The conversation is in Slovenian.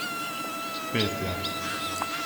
Pet je.